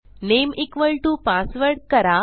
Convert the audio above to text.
name equal to password करा